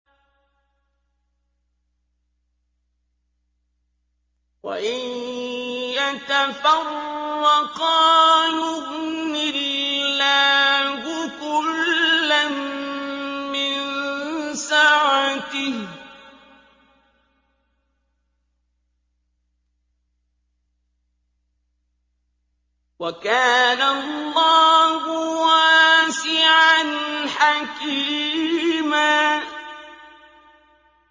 وَإِن يَتَفَرَّقَا يُغْنِ اللَّهُ كُلًّا مِّن سَعَتِهِ ۚ وَكَانَ اللَّهُ وَاسِعًا حَكِيمًا